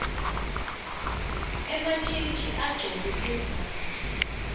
ematjitji agcoke tindlamu